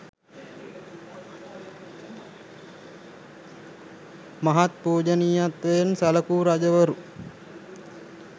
මහත් පූජනීයත්වයෙන් සැලකූ රජවරු